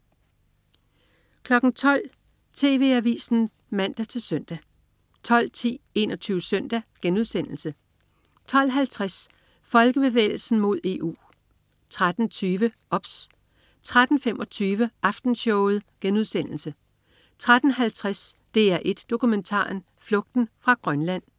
12.00 TV Avisen (man-søn) 12.10 21 Søndag* 12.50 Folkebevægelsen mod EU 13.20 OBS 13.25 Aftenshowet* 13.50 DR1 Dokumentaren. Flugten fra Grønland